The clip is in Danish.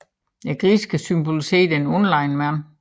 Grisen skal symbolisere den underlegne mand